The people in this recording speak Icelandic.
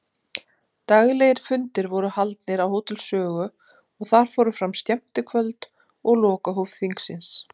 Daglegir fundir voru haldnir á Hótel Sögu og þar fóru fram skemmtikvöld og lokahóf þingsins.